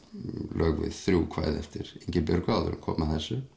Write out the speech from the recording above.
lög við þrjú kvæði eftir Ingibjörgu áður en kom að þessu